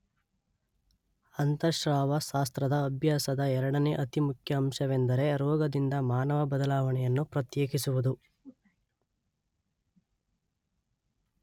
ಅಂತಃಸ್ರಾವ ಶಾಸ್ತ್ರದ ಅಭ್ಯಾಸದ ಎರಡನೇ ಅತಿಮುಖ್ಯ ಅಂಶವೆಂದರೆ ರೋಗದಿಂದ ಮಾನವ ಬದಲಾವಣೆಯನ್ನು ಪ್ರತ್ಯೇಕಿಸುವುದು.